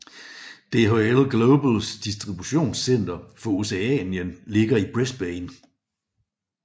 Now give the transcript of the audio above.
DHL Globals distributionscenter for Oceanien ligger i Brisbane